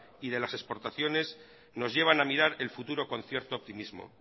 y de las exportaciones nos llevan a mirar el futuro con cierto optimismo